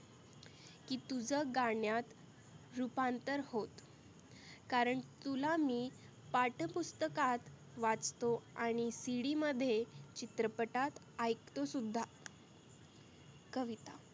की तुझं गाण्यात रुपांतर होत. कारण तुला मी पाठ्यपुस्तकात वाटतो आणि CD मध्ये चित्रपटाट ऐकतो सुद्धा कविता